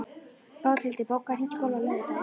Bóthildur, bókaðu hring í golf á laugardaginn.